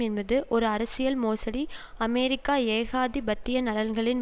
என்பது ஒரு அரசியல் மோசடி அமெரிக்க ஏகாதிபத்திய நலன்களின்